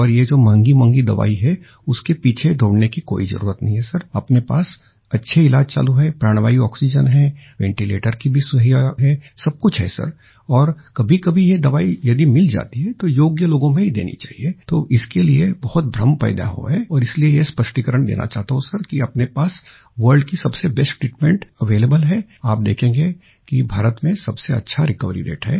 और ये जो महंगीमहंगी दवाई है उसके पीछे दौड़ने की कोई जरूरत नहीं है सिर अपने पास अच्छे इलाज चालू है प्राणवायु आक्सीजेन है वेंटीलेटर की भी सुविधा है सबकुछ है सर और कभीकभी ये दवाई यदि मिल जाती है तो योग्य लोगो में ही देनी चाहिए तो इसके लिए बहुत भ्रम फैला हुआ है और इसलिए ये स्पष्टीकरण देना चाहता हूँ सिर कि अपने पास वर्ल्ड की सबसे बेस्ट ट्रीटमेंट अवेलेबल है आप देखेंगे कि भारत में सबसे अच्छा रिकवरी रते है